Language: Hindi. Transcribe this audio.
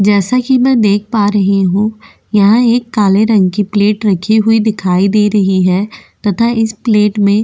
जैसा कि मैं देख पा रही हूं यहां एक काले रंग की प्लेट रखी हुई दिखाई दे रही है तथा इस प्लेट में --